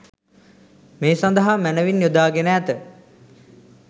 මේ සඳහා මැනවින් යොදා ගෙන ඇත.